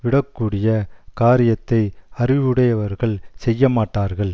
விடக்கூடிய காரியத்தை அறிவுடையவர்கள் செய்யமாட்டார்கள்